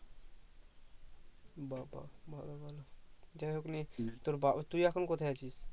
বা বা ভালো ভালো যাই হোক নিয়ে তোর বাবা তুই এখন কোথায় আছিস